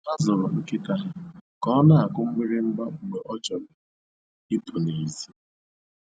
Ha zụrụ nkịta ha ka ọ na-akụ mgbịrịgba mgbe ọ chọrọ ịpụ n'èzí